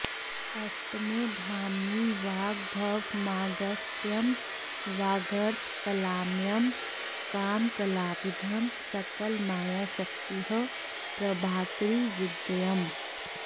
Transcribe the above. अष्टमे धामनि वाग्भवमागस्त्यं वागर्थकलामयं कामकलाभिधं सकलमायाशक्तिः प्रभाकरी विद्येयम्